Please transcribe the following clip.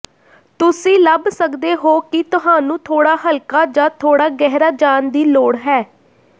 ਤੁਸੀਂ ਲੱਭ ਸਕਦੇ ਹੋ ਕਿ ਤੁਹਾਨੂੰ ਥੋੜਾ ਹਲਕਾ ਜਾਂ ਥੋੜਾ ਗਹਿਰਾ ਜਾਣ ਦੀ ਲੋੜ ਹੈ